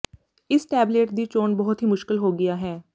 ਇਸ ਟੈਬਲੇਟ ਦੀ ਚੋਣ ਬਹੁਤ ਹੀ ਮੁਸ਼ਕਲ ਹੋ ਗਿਆ ਹੈ